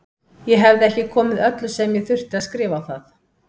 Ég hefði ekki komið öllu sem ég þurfti að skrifa á það.